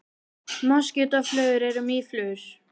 Moskítóflugur eru mýflugur.